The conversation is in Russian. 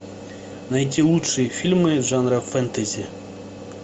найти лучшие фильмы жанра фэнтези